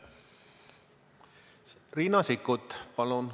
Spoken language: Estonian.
Riina Sikkut, palun!